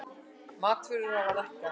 Matvörur hafa lækkað